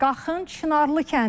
Qaxın Çınarlı kəndi.